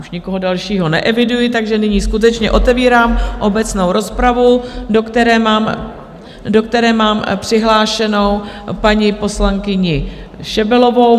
Už nikoho dalšího neeviduji, takže nyní skutečně otevírám obecnou rozpravu, do které mám přihlášenou paní poslankyni Šebelovou.